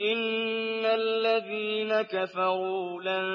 إِنَّ الَّذِينَ كَفَرُوا لَن